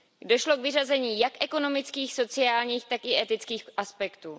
Došlo k vyřazení jak ekonomických, sociálních, tak i etických aspektů.